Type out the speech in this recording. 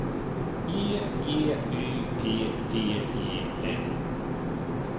E G Y P T E N